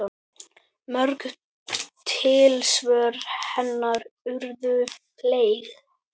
Mörg tilsvör hennar urðu fleyg.